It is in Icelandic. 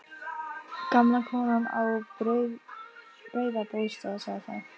Gamla konan á Breiðabólsstað sá þá.